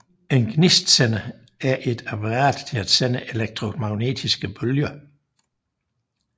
En gnistsender er et apparat til at sende elektromagnetiske bølger